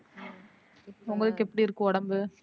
உங்களுக்கு எப்படி இருக்கு உடம்பு?